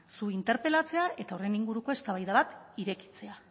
zu interpelatzea eta horren inguruko eztabaida bat irekitzea